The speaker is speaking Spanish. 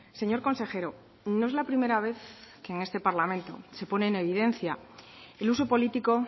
señor consejero no es la primera vez que en este parlamento se pone en evidencia el uso político